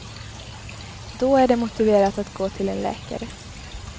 Då är det motiverat att gå till en läkare.